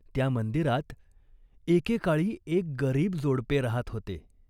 त्या मंदिरात एके काळी एक गरिब जोडपे राहात होते.